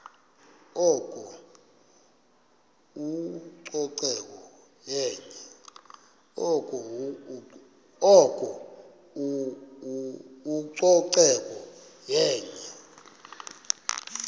oko ucoceko yenye